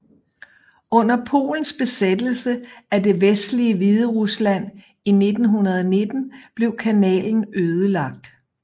Under polens besættelse af det vestlige Hviderusland i 1919 blev kanalen ødelagt